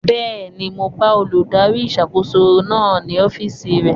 Bẹ́ẹ̀ni, mo bá olùdarí ìṣàkóso náà ní ọ́fìsì rẹ̀